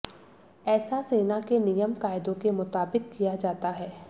ऐसा सेना के नियम कायदों के मुताबिक़ किया जाता है